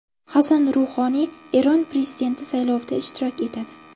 Hasan Ruhoniy Eron prezidenti saylovida ishtirok etadi.